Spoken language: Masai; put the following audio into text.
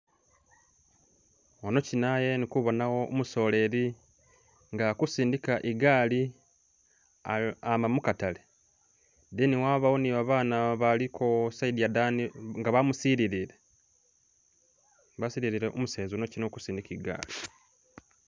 ano kyinaye ndikubonawo umusoleyi nga akusindika igaali ama mukatale ne wabawo nibabana baliko isayidi yadani nga bamusilile, basililile umuseza yukyina uli kusindika igaali.